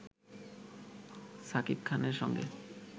শাকিব খানের সঙ্গে